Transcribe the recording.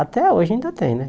Até hoje ainda tem, né?